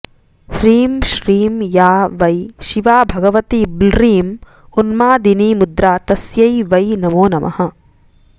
ह्रीं श्रीं या वै शिवा भगवती बॢं उन्मादिनीमुद्रा तस्यै वै नमो नमः